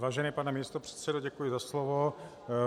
Vážený pane místopředsedo, děkuji za slovo.